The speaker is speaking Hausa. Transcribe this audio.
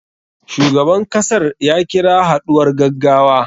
Shugaban kasar ya kira haɗuwar gaggawa.